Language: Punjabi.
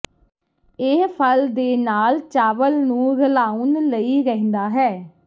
ਇਹ ਫਲ ਦੇ ਨਾਲ ਚਾਵਲ ਨੂੰ ਰਲਾਉਣ ਲਈ ਰਹਿੰਦਾ ਹੈ